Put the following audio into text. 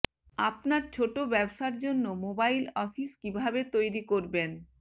আপনার ছোট ব্যবসার জন্য মোবাইল অফিস কিভাবে তৈরি করবেন